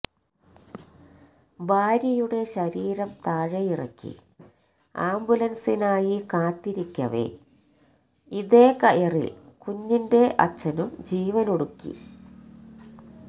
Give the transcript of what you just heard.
ഭാര്യയുടെ ശരീരം താഴെയിറക്കി ആംബുലൻസിനായി കാത്തിരിക്കവേ ഇതേ കയറിൽ കുഞ്ഞിന്റെ അച്ഛനും ജീവനൊടുക്കി